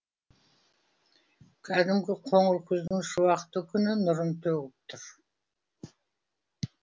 кәдімгі қоңыр күздің шуақты күні нұрын төгіп тұр